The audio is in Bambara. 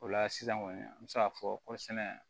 O la sisan kɔni an bɛ se k'a fɔ kɔrisɛnɛ